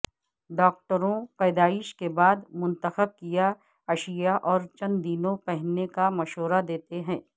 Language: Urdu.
ڈاکٹروں پیدائش کے بعد منتخب کیا اشیاء اور چند دنوں پہننے کا مشورہ دیتے ہیں